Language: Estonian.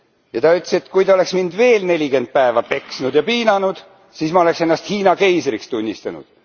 Ja ta ütles, et kui te oleks mind veel nelikümmend päeva peksnud ja piinanud, siis ma oleks ennast Hiina keisriks tunnistanud.